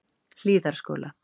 Hlíðarskóla